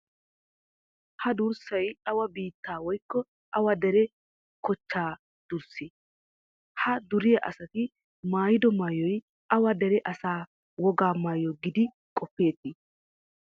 Ha durssay awa biittaa woykko awa dere kochchaa durssee? Ha duriya asati maayido maayoy awa dere asaa wogaa maayoo giidi qoppeetii?